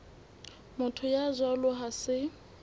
motho ya jwalo ha se